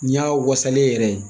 Ni y'a wasalen yɛrɛ ye